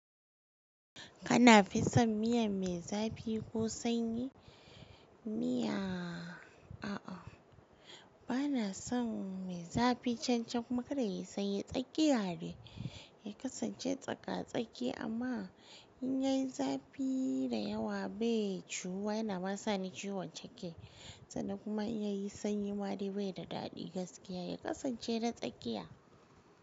Kana fisan miya me zafi ko sanyi? Miya, a'a bana son me zafi can-can kuma kada yayi sanyi tsakiya de, ya kasance tsaka-tsaki amma in yai zafi, da yawa be ciwu wa yana ma sani ciwan ciki. Sannan kuma in yai sanyi ma dai bai da dadi gaskiya, ya kasan ce de tsakiya.